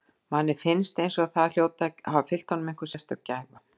Manni finnst eins og það hljóti að hafa fylgt honum einhver sérstök gæfa.